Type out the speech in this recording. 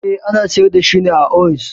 Eh, ana sayar da shi da ounce